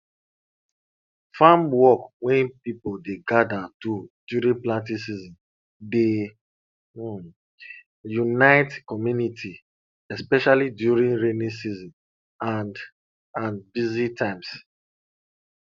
farm work wey people dey gather do during planting season dey um unite community especially during rainy season and and busy times